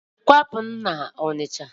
Kwapụ n'Ọnịcha!